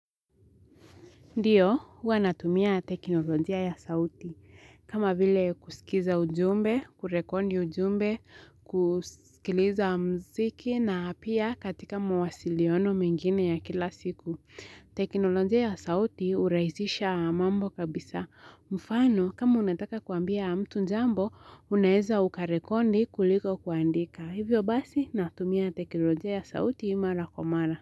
Ndiyo, huwa natumia teknolojia ya sauti, kama vile kusikiza ujumbe, kurekodi ujumbe, kusikiliza mziki na pia katika mwasiliano mingine ya kila siku. Teknolojia ya sauti huraizisha mambo kabisa. Mfano, kama unataka kuambia mtu njambo, unaeza ukarekodi kuliko kuandika. Hivyo basi, natumia teknolojia ya sauti mara kwa mara.